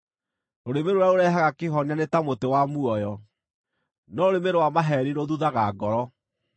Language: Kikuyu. Rũrĩmĩ rũrĩa rũrehaga kĩhonia nĩ ta mũtĩ wa muoyo, no rũrĩmĩ rwa maheeni rũthuthaga ngoro.